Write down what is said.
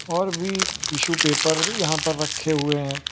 और भी tissue paper यहां पर रखे हुए हैं।